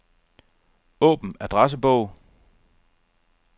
Åbn adressebog.